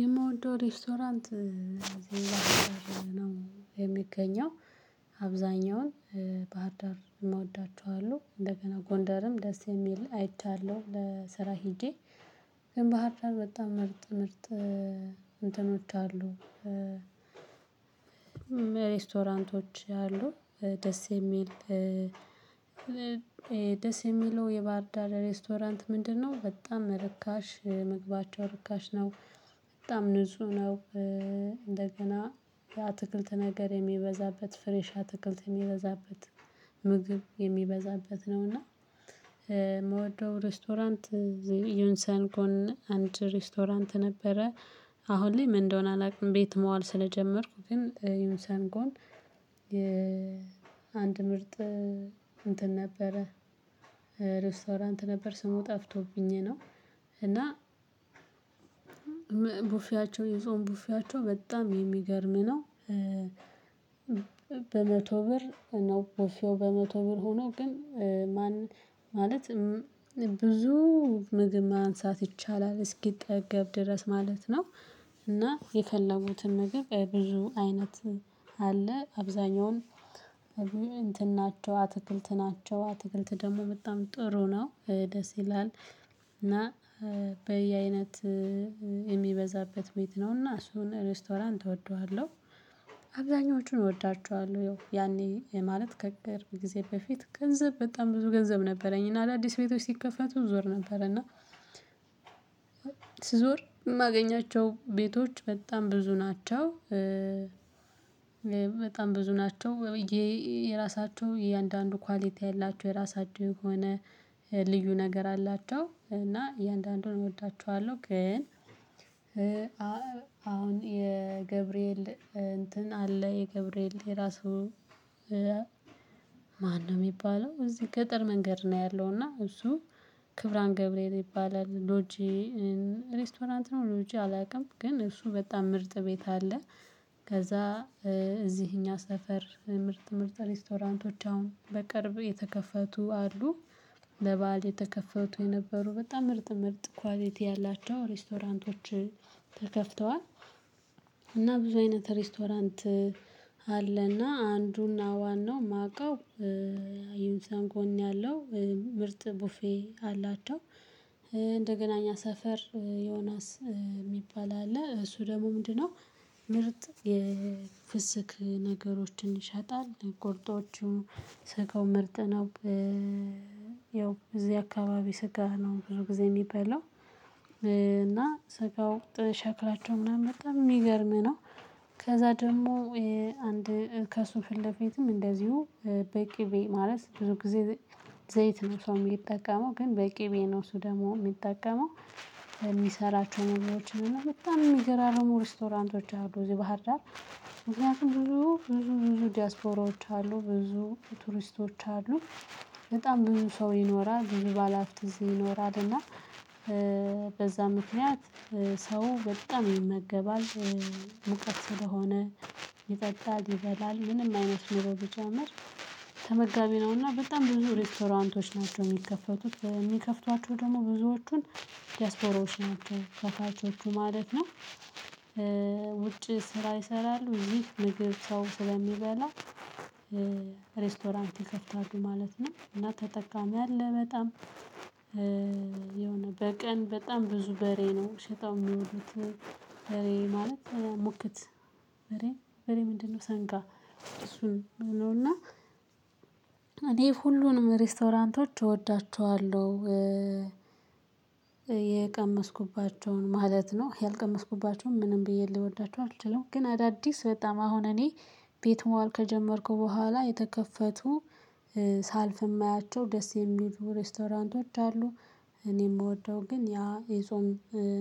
የምወደው ሬስቶራንት እዚህ ባህርዳር ነው የሚገኘው አብዛኛውን ባህር ዳር እምወዳቸው አሉ እንደገና ጎንደርም ደስ የሚል አይቻለሁ ለስራ ሄጄ። ግን ባህር ዳር በጣም ምርጥ ምርጥ እንትኖች አሉ። ሬስቶራንቶች አሉ ደስ የሚል። ደስ የሚለው የባህርዳር ሬስቶራንት ምንድነው? በጣም ርካሽ ምግባቸው ርካሽ ነው። በጣም ንጹህ ነው። እንደገና የአትክልት ነገር የሚበዛበት ፍሬሽ አትክልት የሚበዛበት ምግብ የሚበዛበት ነው። እና ምወደው ሬስቶራንት ዩንሰን ጎን አንድ ሬስቶራንት ነበረ። አሁን ላይ ምን እንደሆነ አላውቅም። ቤት መዋል ስለጀመርኩ ግን ዩንሰን ጎን አንድ ምርጥ እንትን ነበረ ሬስቶራንት ነበር ስሙ ጠፍቶብኝ ነው። እና ቡፌያቸው የጾም ቡፌያቸው በጣም የሚገርም ነው። በመቶ ብር ነው ብፌው በመቶ ብር ሆኖ ግን ማን ማለት ብዙ ምግብ ማንሳት ይቻላል እስኪጠገብ ድረስ ማለት ነው። እና የፈለጉትን ምግብ ብዙ አይነት አለ። አብዛኛውን እንትን ናቸው አትክልት ናቸው አትክልት ደግሞ በጣም ጥሩ ነው ደስ ይላል። እና በየአይነት የሚበዛበት ቤት ነው እና እሱን ሬስቶራንት እወደዋለሁ። አብዛኞቹን እወዳቸዋለሁ ያው ያኔ ማለት ከቅርብ ጊዜ በፊት ገንዘብ በጣም ብዙ ገንዘብ ነበረኝ። እና አዳዲስ ቤቶች ሲከፈቱ እዞር ነበር እና ስዞር እማገኛቸው ቤቶች በጣም ብዙ ናቸው። በጣም ብዙ ናቸው ያው የየራሳቸው እያንዳንዱ ኳሊቲ አላቸው የራሳቸው የሆነ ልዩ ነገር አላቸው። እና እያንዳንዱን እወዳቸዋለሁ ግን አሁን የገብርኤል እንትን አለ የገብርኤል የራሱ ማነው ሚባለው እዚህ ገጠር መንገድ ነው። ያለው እና እሱ ክብራን ገብርኤል ይባላል። ሎጂ ሬስቶራንት ነው ሎጂ አላውቅም ግን እሱ በጣም ምርጥ ቤት አለ። ከዛ እዚህ እኛ ሰፈር ምርጥ ምርጥ ሬስቶራንቶች አሁን በቅርብ የተከፈቱ አሉ። ለበአል የተከፈቱ የነበሩ በጣም ምርጥ ምርጥ ኳሊቲ ያላቸው ሬስቶራንቶች ተከፍተዋል። እና ብዙ አይነት ሬስቶራንት አለ። እና አንዱ እና ዋናው ማቀው አዩንሰን ጎን ያለው ምርጥ ቡፌ አላቸው። እንደገና እኛ ሰፈር ዮናስ ሚባል አለ እሱ ደግሞ ምንድነው? ምርጥ የፍስክ ነገሮችን ይሸጣል ቁርጦቹ ስጋው ምርጥ ነው። ያው እዚህ አካባቢ ስጋ ነው ብዙ ጊዜ ሚበላው እና ስጋው ጥ ሸክላቸው ምናምን በጣም ሚገርም ነው። ከዛ ደግሞ አንድ ከሱ ፊለፊትም እንደዚሁ በቂቤ ማለት ብዙ ጊዜ ዘይ ዘይት ነው ሰው ሚጠቀመው ግን በቂቤ ነው እሱ ደግሞ ሚጠቀመው። ከሚሰራቸው ምግቦችን እና በጣም እሚገራርሙ ሬስቶራንቶች አሉ እዚህ ባህር ዳር። ምክንያቱም ብዙ ብዙ ብዙ ዲያስፖራዎች አሉ ብዙ ቱሪስቶች አሉ። በጣም ብዙ ሰው ይኖራል ብዙ ባለሃብት እዚህ ይኖራል እና በዛ ምክንያት ሰው በጣም ይመገባል። ሙቀት ስለሆነ ይጠጣል ይበላል ምንም አይነት ኑሮ ቢጨምር ተመጋቢ ነው እና በጣም ብዙ ሬስቶራንቶች ናቸው። ሚከፈቱት በ ሚከፍቷቸው ደግሞ ብዙዎቹን ዲያስፖራዎች ናቸው ከፋቾቹ ማለት ነው። ውጭ ስራ ይሰራሉ እዚህ ምግብ ሰው ስለሚበላ ሬስቶራንት ይከፍታሉ ማለት ነው። እና ተጠቃሚ አለ በጣም የሆነ በቀን በጣም ብዙ በሬ ነው ሽጠው ሚዉሉት። በሬ ማለት ሙክት በሬ በሬ ምንድነው? ሰንጋ እሱን ነው እና እኔ ሁሉንም ሬስቶራንቶች እወዳቸዋለሁ። የቀመስኩባቸውን ማለት ነው ያልቀመስኩባቸውን ምንም ብዬ ልወዳቸው አልችልም። ግን አዳዲስ በጣም አሁን እኔ ቤት መዋል ከጀመርኩ በኋላ የተከፈቱ ሳልፍ እማያቸው ደስ የሚሉ ሬስቶራንቶች አሉ። እኔ ምወደው ግን ያ የጾም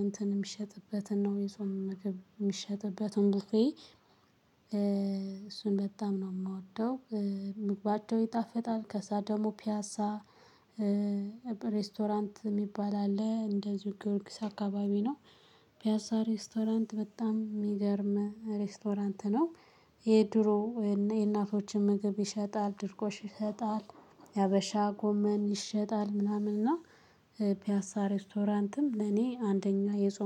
እንትን እሚሸጥበትን ነው የጾም ምገብ ሚሸጥበትን ቡፌ እሱን በጣም ነው ምወደው። ምግባቸው ይጣፍጣል። ከዛ ደግሞ ፒያሳ ሬስቶራንት ሚባል አለ እንደዚሁ ጊዮርጊስ አካባቢ ነው። ፒያሳ ሬስቶራንት በጣም ሚገርም ሬስቶራንት ነው። የድሮ እና የእናቶችን ምግብ ይሸጣል ድርቆሽ ይሸጣል። የሀበሻ ጎመን ይሸጣል ምናምን እና ፒያሳ ሬስቶራንትም ለኔ አንደኛ የጾም